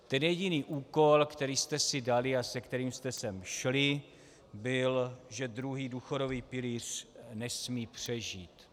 Ten jediný úkol, který jste si dali a se kterým jste sem šli, byl, že druhý důchodový pilíř nesmí přežít.